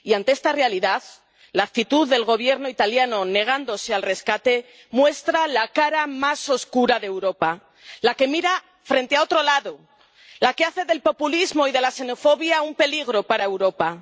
Y, ante esta realidad, la actitud del Gobierno italiano, negándose al rescate, muestra la cara más oscura de Europa la que mira a otro lado, la que hace del populismo y de la xenofobia un peligro para Europa.